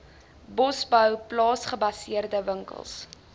bosbou plaasgebaseerde winkels